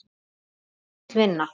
Þetta er full vinna.